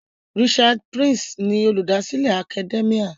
Richard Price ni Olùdásílẹ̀ Academia.